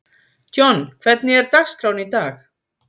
John, hvernig er dagskráin í dag?